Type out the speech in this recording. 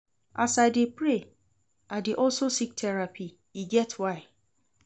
As I dey pray, I dey also seek therapy, e get why.